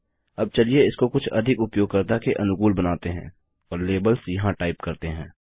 अब चलिए इसको कुछ अधिक उपयोगकर्ता के अनुकूल बनाते हैं और लेबल्स यहाँ टाइप करते हैं